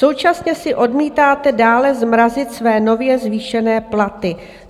Současně si odmítáte dále zmrazit své nově zvýšené platy.